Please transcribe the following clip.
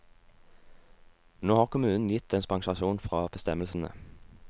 Nå har kommunen gitt dispensasjon fra bestemmelsene.